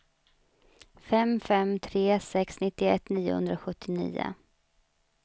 fem fem tre sex nittioett niohundrasjuttionio